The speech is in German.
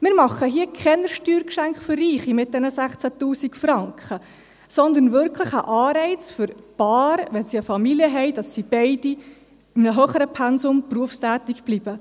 Wir machen hier keine Steuergeschenke für Reiche mit diesen 16’000 Franken, sondern wirklich einen Anreiz für Paare, wenn sie eine Familie haben, dass sie beide in einem höheren Pensum berufstätig bleiben.